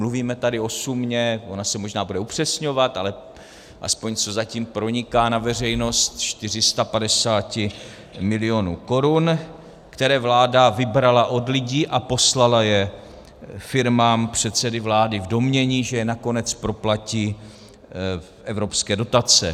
Mluvíme tady o sumě - ona se možná bude upřesňovat, ale aspoň co zatím proniká na veřejnost - 450 milionů korun, které vláda vybrala od lidí a poslala je firmám předsedy vlády v domnění, že je nakonec proplatí evropské dotace.